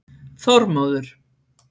Þormóður